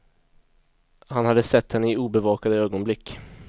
Han hade sett henne i obevakade ögonblick.